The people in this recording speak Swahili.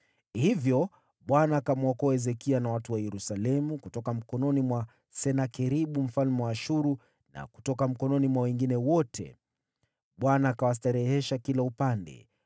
Hivyo Bwana akamwokoa Hezekia na watu wa Yerusalemu kutoka mkononi mwa Senakeribu mfalme wa Ashuru na kutoka mikononi mwa wengine wote. Bwana akawastarehesha kila upande.